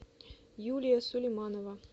юлия сулейманова